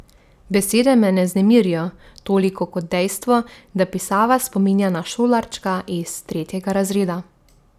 Besede me ne vznemirijo toliko kot dejstvo, da pisava spominja na šolarčka iz tretjega razreda.